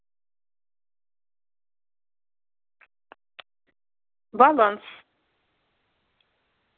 баланс